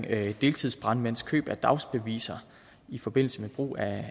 af deltidsbrandmænds køb af dagsbeviser i forbindelse med brug af